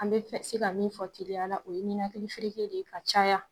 An bɛ se ka min fɔ teliya la, o ye nikali fereke de ye ka caya